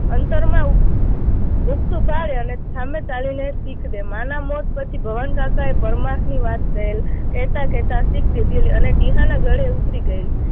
અંતરમાં ઉગતું અને સામે ચાલીને શીખ દે, માંના મોત પછી ભવનકાકાએ પરમાર્થની વાત કહેલી, કહેતા કહેતા શીખ દીધેલી અને ટીહાના ગળે ઉતરી ગયેલી